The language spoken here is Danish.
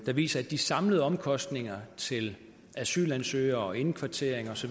der viser at de samlede omkostninger til asylansøgere indkvartering osv